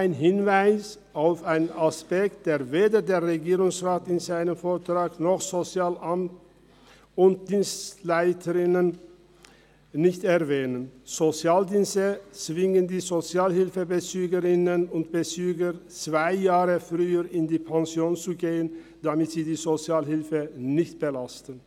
Ein Hinweis auf einen Aspekt, den weder der Regierungsrat in seinem Vortrag noch das Sozialamt und die Sozialdienstleiterinnen und -leiter erwähnen: Sozialdienste zwingen die Sozialhilfebezügerinnen und -bezüger, zwei Jahre früher in Pension zu gehen, damit sie die Sozialhilfe nicht belasten.